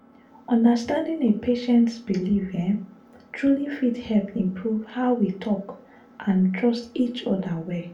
understanding a patient’s beliefs um truly fit help improve how we talk and trust each other well.